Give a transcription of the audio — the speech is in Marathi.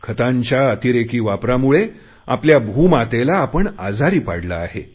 खतांच्या अतिरेकी वापरामुळे आपल्या भूमातेला आपण आजारी पाडले आहे